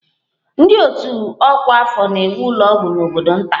Ndị otu ọkwa afọ na-ewu ụlọ ọgwụ n'obodo nta